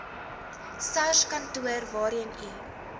sarskantoor waarheen u